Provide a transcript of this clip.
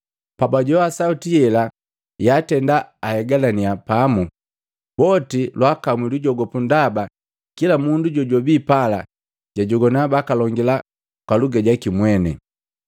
Pabajowa sauti yela Yaatena, bahegalaninya pamu. Boti lwaakamwi lujogopu ndaba kila mundu jojwabi pala jwajogwana bakalongila kwa luga jaki mweni.